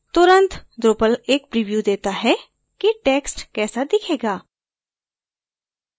तुरंत drupal एक preview देता है कि text कैसा दिखेगा